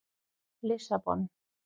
Lissabon